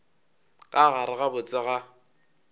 ka gare ga botse ga